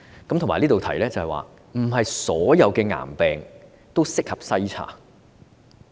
此外，我亦想在此指出，並非所有癌病均適合篩查。